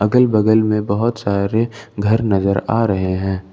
अगल बगल में बहोत सारे घर नजर आ रहे हैं।